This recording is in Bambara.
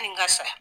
N ka sa